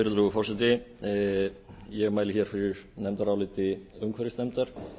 virðulegur forseti ég mæli hér fyrir nefndaráliti umhverfisnefndar